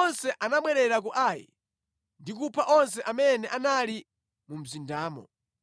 onse anabwerera ku Ai ndi kupha onse amene anali mu mzindamo.